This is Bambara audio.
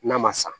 N'a ma sa